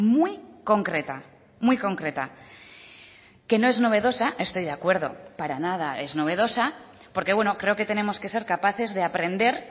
muy concreta muy concreta que no es novedosa estoy de acuerdo para nada es novedosa porque bueno creo que tenemos que ser capaces de aprender